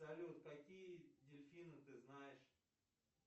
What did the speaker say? салют какие дельфины ты знаешь